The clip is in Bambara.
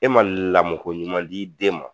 E ma lamɔ ko ɲuman d'i den ma.